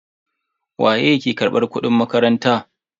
Waye ke karbar kudin makaranta?